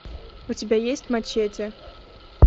у тебя есть мачете